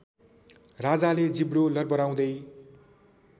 राजाले जिब्रो लर्बराउँदै